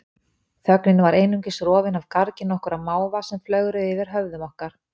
Þögnin var einungis rofin af gargi nokkurra máva sem flögruðu yfir höfðum okkar.